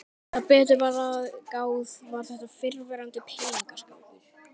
Þegar betur var að gáð var þetta fyrrverandi peningaskápur.